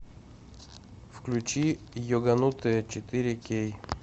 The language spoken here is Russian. включи йоганутые четыре кей